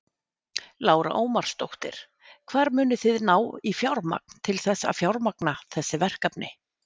Lára Ómarsdóttir: Hvar munið þið ná í fjármagn til þess að fjármagna þessi verkefni?